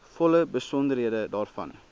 volle besonderhede daarvan